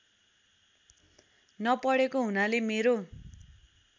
न पढेको हुनाले मेरो